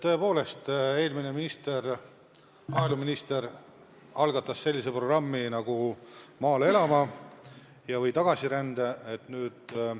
Tõepoolest, eelmine maaeluminister algatas sellise programmi nagu "Maale elama!" ehk tagasirände programmi.